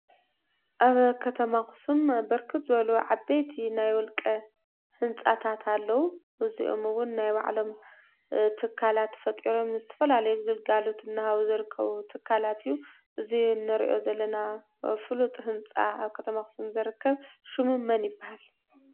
ኣብ ከተማ አክሱም ብርክት ዝበሉ ዓበይቲ ናይ ውልቀ ህንፃታት ኣለው። እዚኦም እውን ናይ ባዕሎም ትካላት ፈጢሮም ንዝተፈላለዩ ግልጋሎት እናሃቡ ዝርከቡ ትካላት እዩ። እዚ ንሪኦ ዘለና ፉሉጥ ህንፃ አብ ከተማ አክሱም ዝርከብ ሹሙ መን ይበሃል?